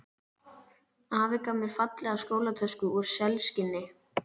Afi gaf mér fallega skólatösku úr selskinni.